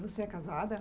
Você é casada?